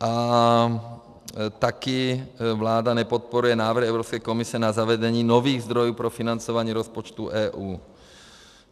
A taky vláda nepodporuje návrh Evropské komise na zavedení nových zdrojů pro financování rozpočtu EU.